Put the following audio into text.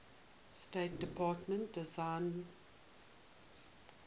state department designated